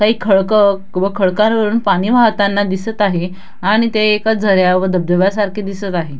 काही खडक व खडकांवरून पाणी वाहताना दिसत आहे आणि ते एका झऱ्या व धबधब्या सारखे दिसत आहे.